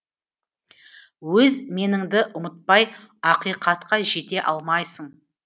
өз меніңді ұмытпай ақиқатқа жете алмайсың